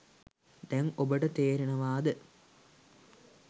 දැන් ඔබට තේරෙනවාද